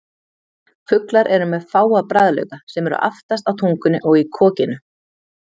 Fuglar eru með fáa bragðlauka sem eru aftast á tungunni og í kokinu.